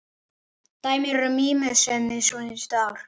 Dæmin eru mýmörg síðustu ár.